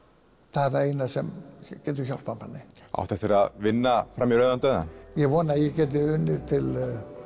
það eina sem getur hjálpað manni áttu eftir að vinna fram í rauðan dauðann ég vona að ég geti unnið til